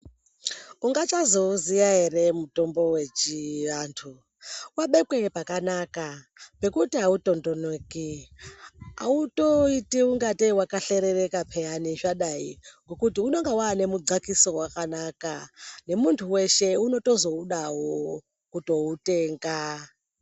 Ungachazouziya ere mutombo wechiantu wabekwe pakanaka ngekuti autondoneki autoiti ingatei wakahlerereka payana zvadai Ngekuti unenge waane mudhkakiso wakanaka nemuntu weshe unotozoudawo kuutenga.